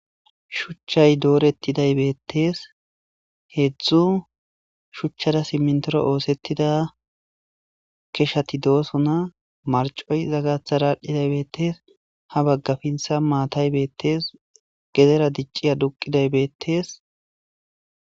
Shuchayi dorethidayi bethess hezzu shuchara siminthora ossethiza keshathi dossona marcoyi izza gathara bethess ha bagga pinthan mayhthayi bethes gedera dicci aduqidayi bethess.